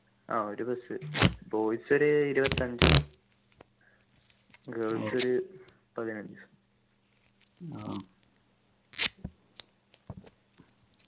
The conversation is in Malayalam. ആഹ് ഒരു bus boys ഒരു ഇരുപത്തി അഞ്ചും girls ഒരു പതിനഞ്ചും